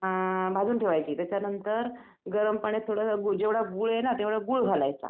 हं भाजून ठेवायची त्याच्यानंतर गरम पाण्यात जेवढं गूळ आहे ना तेवढं गूळ घालायचं